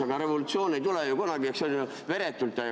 Aga revolutsioon ei tule ju kunagi veretult.